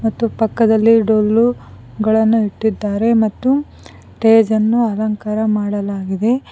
ಮತ್ತು ಪಕ್ಕದಲ್ಲಿ ಡೊಲ್ಲು ಗಳನ್ನು ಇಟ್ಟಿದ್ದಾರೆ ಮತ್ತು ಟೇಜ ಅನ್ನು ಅಲಂಕಾರ ಮಾಡಲಾಗಿದೆ.